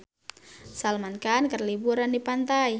Salman Khan keur liburan di pantai